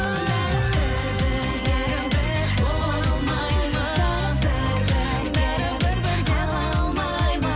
бәрібір бірге біз бола алмаймыз бәрібір бірге біз қала алмаймыз